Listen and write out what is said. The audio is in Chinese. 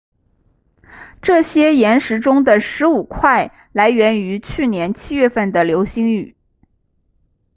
这些岩石中的十五块来源于去年七月份的流星雨